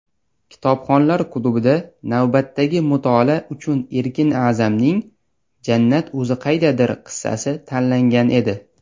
"Kitobxonlar klubi"da navbatdagi mutolaa uchun Erkin A’zamning "Jannat o‘zi qaydadir" qissasi tanlangan edi.